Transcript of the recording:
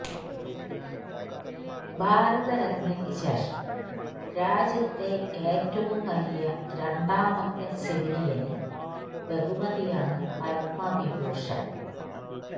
ഭാരതരത്നയ്ക്ക് ശേഷം രാജ്യത്തെ ഏറ്റവും വലിയ രണ്ടാമത്തെ സിവിലിയന് ബഹുമതിയാണ് പത്മവിഭൂഷണ്